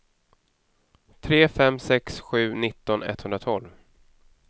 tre fem sex sju nitton etthundratolv